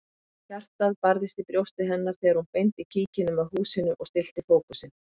Hjartað barðist í brjósti hennar þegar hún beindi kíkinum að húsinu og stillti fókusinn.